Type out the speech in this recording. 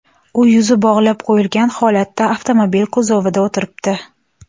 U yuzi bog‘lab qo‘yilgan holatda avtomobil kuzovida o‘tiribdi.